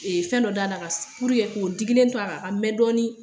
Ee fɛn dɔ da ka purke k'o digilen to a kan a ka mɛn dɔɔnin.